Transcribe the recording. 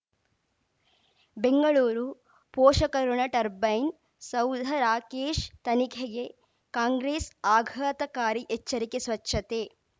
ಬೆಂಗಳೂರು ಪೋಷಕರಋಣ ಟರ್ಬೈನು ಸೌಧ ರಾಕೇಶ್ ತನಿಖೆಗೆ ಕಾಂಗ್ರೆಸ್ ಆಘಾತಕಾರಿ ಎಚ್ಚರಿಕೆ ಸ್ವಚ್ಛತೆ